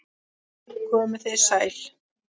Komið þið sæl.